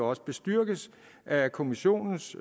også bestyrkes af kommissionens